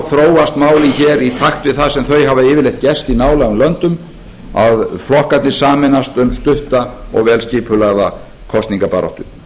þróast málin hér í takt við það sem þau hafa yfirleitt gerst í nálægum löndum að flokkarnir sameinast um stutta og vel skipulagða kosningabaráttu